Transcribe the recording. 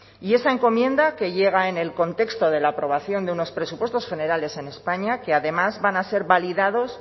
y esa encomienda que llega en el contexto de la aprobación de unos presupuestos generales en españa que además van a ser validados